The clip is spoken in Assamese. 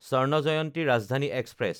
স্বৰ্ণ জয়ন্তী ৰাজধানী এক্সপ্ৰেছ